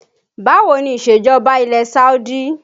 Báwo ni isejọba ilẹ̀ Saudi?